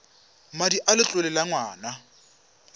madi a letlole a ngwana